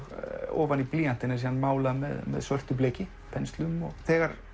ofan í blýantinn er málað með svörtu bleki penslum þegar